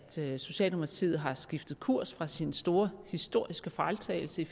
socialdemokratiet har skiftet kurs væk fra sin store historiske fejltagelse i